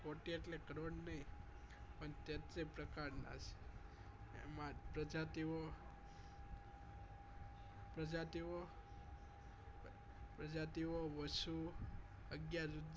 કોટી એટલે કરોડ નહિ પણ તેત્રી પ્રકાર નાએમાં પ્રજાતિઓ પ્રજાતિઓ પ્રજાતિઓ વશું અગિયાર રુદ્ર